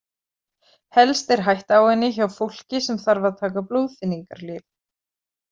Helst er hætta á henni hjá fólki sem þarf að taka blóðþynningarlyf.